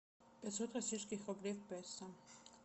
пятьсот российских рублей в песо